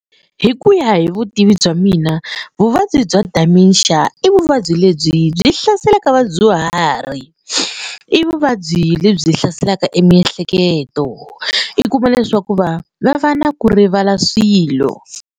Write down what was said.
Hi ku ya hi vutivi bya mina vuvabyi bya dementia i vuvabyi lebyi byi hlaselaka vadyuhari. I vuvabyi lebyi hlaselaka e miehleketo i kuma leswaku va va va na ku rivala swilo.